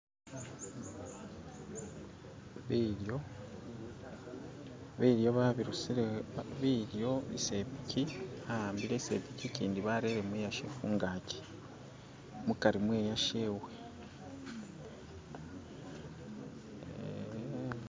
bilyo babirusile isepikyi anhampile isepikyi ikyindi bareremu ishe hungakyi mukari mweyashewe